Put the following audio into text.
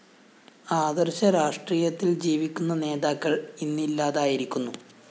ആദര്‍ശരാഷ്ട്രീയത്തില്‍ ജീവിക്കുന്ന നേതാക്കള്‍ ഇന്നില്ലാതായിരിക്കുന്നു